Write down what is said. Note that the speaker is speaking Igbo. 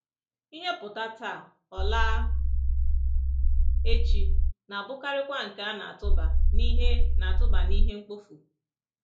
Ihe ‘pụta’ taa, ọ ‘laa’ echi, na-abụkarịkwa nke a na-atụba n’ihe na-atụba n’ihe mkpofu.